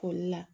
Koli la